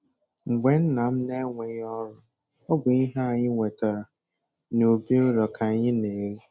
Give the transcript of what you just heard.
Mgbe nna m na-enweghị ọrụ, ọ bụ ihe anyị wetara n'ubi ụlọ k'anyị na-eri